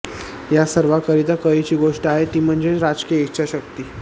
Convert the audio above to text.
या सर्वाकरिता कळीची गोष्ट आहे ती म्हणजे राजकीय इच्छाशक्ती